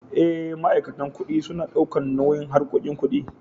Eh, ma'aikatan kuɗi suna daukan nauyin harkoki ƙuɗi.